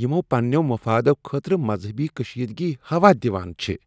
یِمو پننیو مفادَو خٲطرٕ مذہبی کشیدگی ہوا دِوان چھ ۔